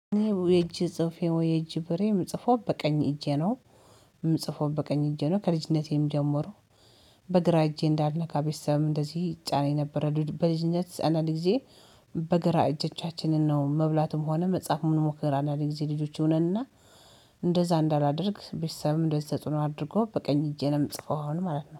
የእጅ ጽሁፌ ወይ የእጅ ብእሬ የምጽፈው በቀኝ እጄ ነው። የምጽፈው በቀኝ እጄ ነው ከልጅነቴም ጀመሩ። በግራ እጄ እንዳልነካ ቤተሰብም እንደዚህ ይጫነኝ ነበረ። በልጅነት ጸና ልጅዬ በግራ እጆቻችንን ነው። መብላትም ሆነ መጽሐፍ ምን ሞከራ እና የጊዜ ልጆች ይሁነንና። እንደዛ እንዳላደርግ ቤተሰብም እንደተፅኖ አድርጎ በቀኝ እጄንም ጽፈው አሁን ማለት ነው